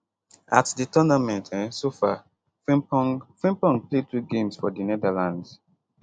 at di tournament um so far frimpong frimpong play 2 games for di netherlands